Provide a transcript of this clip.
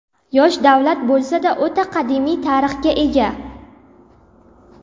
Yosh davlat bo‘lsa-da, o‘ta qadimiy tarixga ega.